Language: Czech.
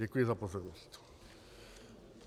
Děkuji za pozornost.